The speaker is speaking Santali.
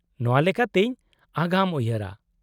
-ᱚᱱᱟ ᱞᱮᱠᱟᱛᱤᱧ ᱟᱜᱟᱢ ᱩᱭᱦᱟᱹᱨᱟ ᱾